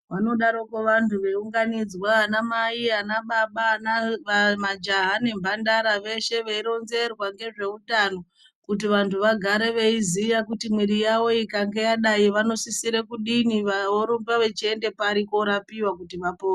Vanodaroko vantu veiunganidzwa ana mai ana baba majaha nemhandara veshe veironzerwa ngezvehutano kuti vantu vagare veiziva kuti mwiri yawo kana yadai vanosisira kudini vorumba vachienda pari korapiwa kuti vapore.